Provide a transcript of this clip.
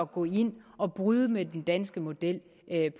gå ind og bryde med den danske model